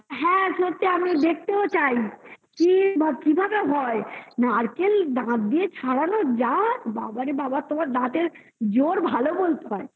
হ্যাঁ সত্যি আমি দেখতেও চাই। কি বা কিভাবে হয় নারকেল দাঁত দিয়ে ছাড়ানো যাত বাবারে বাবা তোমার দাঁতের জোর ভালো বলতে হয়